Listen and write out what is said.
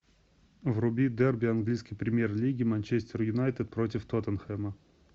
вруби дерби английской премьер лиги манчестер юнайтед против тоттенхэма